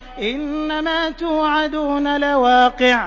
إِنَّمَا تُوعَدُونَ لَوَاقِعٌ